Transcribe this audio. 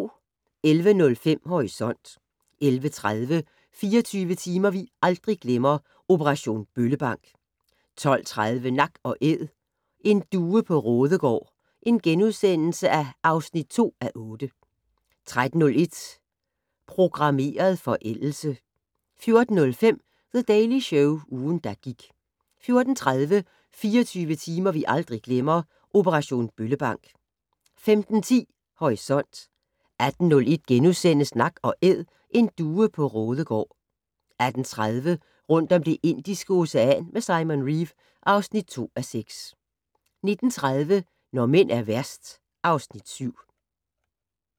11:05: Horisont 11:30: 24 timer vi aldrig glemmer - Operation Bøllebank 12:30: Nak & Æd - en due på Raadegaard (2:8)* 13:01: Programmeret forældelse 14:05: The Daily Show - ugen, der gik 14:30: 24 timer vi aldrig glemmer - Operation Bøllebank 15:10: Horisont 18:01: Nak & Æd - en due på Raadegaard (2:8)* 18:30: Rundt om Det Indiske Ocean med Simon Reeve (2:6) 19:30: Når mænd er værst (Afs. 7)